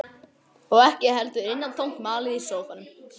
Og ekki heldur innantómt malið í sófanum.